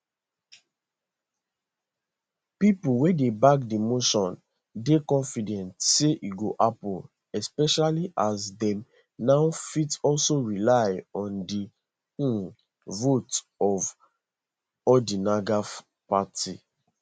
pipo wey dey back di motion dey confident say e go happun especially as dem now fit also rely on di um votes for odinga party